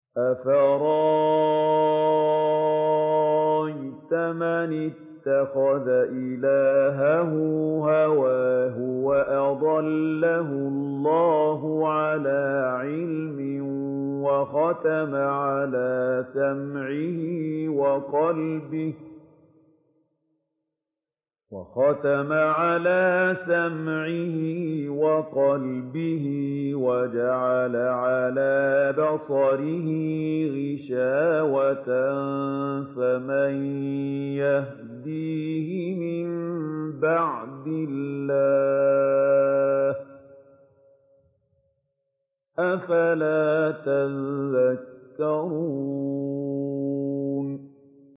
أَفَرَأَيْتَ مَنِ اتَّخَذَ إِلَٰهَهُ هَوَاهُ وَأَضَلَّهُ اللَّهُ عَلَىٰ عِلْمٍ وَخَتَمَ عَلَىٰ سَمْعِهِ وَقَلْبِهِ وَجَعَلَ عَلَىٰ بَصَرِهِ غِشَاوَةً فَمَن يَهْدِيهِ مِن بَعْدِ اللَّهِ ۚ أَفَلَا تَذَكَّرُونَ